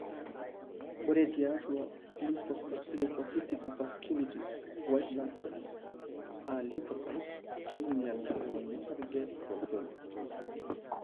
Ore tiatu lymphocytic vasculitis, white blood cells (lymphocytes) keinyal ngonyo osarge tolchoni.